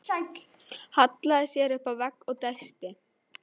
Hallaði sér upp að vegg og dæsti.